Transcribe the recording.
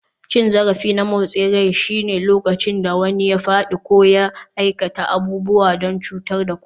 Cin zarafi na motsin rai shine lokacin da wani ya faɗi ko ya aikata abubuwa don cutar da ku.